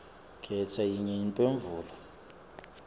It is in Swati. khetsa yinye imphendvulo